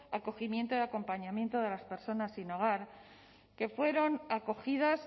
acogimiento y acompañamiento de las personas sin hogar que fueron acogidas